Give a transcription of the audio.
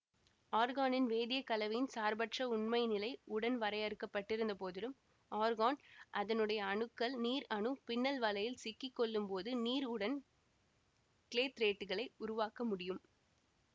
ஆர்கானின் வேதிய கலவையின் சார்பற்ற உண்மைநிலை உடன் வரையறுக்கப்பட்டிருந்த போதிலும் ஆர்கான் அதனுடைய அணுக்கள் நீர் அணு பின்னல்வலையில் சிக்கிக்கொள்ளும்போது நீர் உடன் க்ளேத்ரேட்களை உருவாக்க முடியும்